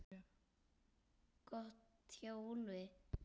Gott hjá Úlfi!